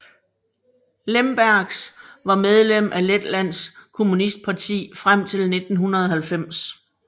Lembergs var medlem af Letlands Kommunistparti frem til 1990